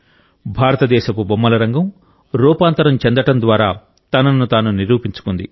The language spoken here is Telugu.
భారతదేశపు బొమ్మల రంగం రూపాంతరం చెందడం ద్వారా తనను తాను నిరూపించుకుంది